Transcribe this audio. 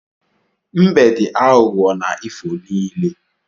Mbe dị aghughọ na ifo niile